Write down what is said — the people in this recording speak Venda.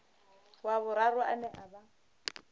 wa vhuraru ane a vha